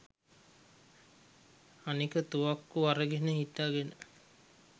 අනෙක තුවක්කු අරගෙන හිටගෙන